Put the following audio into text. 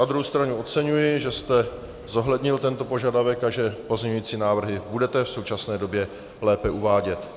Na druhou stranu oceňuji, že jste zohlednil tento požadavek a že pozměňující návrhy budete v současné době lépe uvádět.